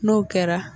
N'o kɛra